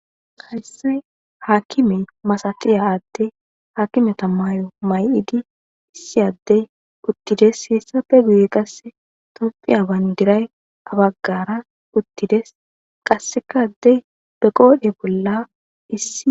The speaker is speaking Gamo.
Hayssay haakkime masatiya adde haakimeta maay'o may'idi issi addey uttides hiissappe guye qasse toppiya bayndiray abaggara uttides qassekaddey be qoodhe bolla issi.